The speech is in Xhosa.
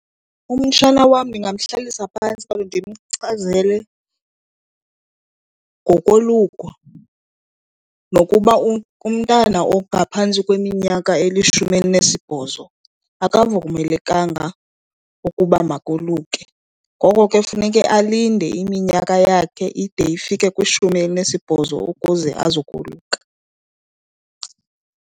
Umtshana wam ndingamhlalisa phantsi kaloku ndimchazele ngokoluka nokuba umntana ongaphantsi kweminyaka elishumi elinesibhozo akavumelekanga ukuba makoluke. Ngoko ke funeke alinde iminyaka yakhe ide ifike kwishumi elinesibhozo ukuze azokoluka.